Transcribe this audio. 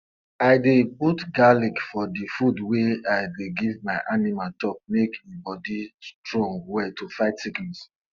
i dey put garlic for the the food wey i dey give my animal chop make e body strong well to fight sickness